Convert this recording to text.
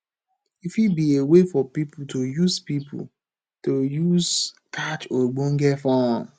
e fit be a way for pipo to use pipo to use catch ogbonge fun